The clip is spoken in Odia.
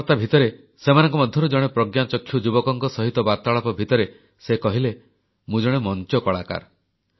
କଥାବାର୍ତ୍ତା ଭିତରେ ସେମାନଙ୍କ ମଧ୍ୟରୁ ଜଣେ ପ୍ରଜ୍ଞାଚକ୍ଷୁ ଯୁବକ ସହିତ ବାର୍ତ୍ତାଳାପ ଭିତରେ ସେ କହିଲେ ମୁଁ ଜଣେ ମଂଚ କଳାକାର